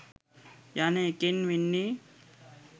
යන එකෙන් වෙන්නේ